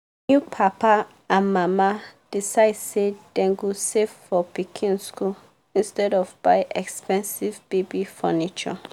if papa and mama decide say dem go save for pikin school instead of buy expensive baby furniture.